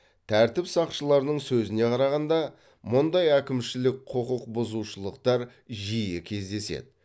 тәртіп сақшыларының сөзіне қарағанда мұндай әкімшілік құқықбұзушылықтар жиі кездеседі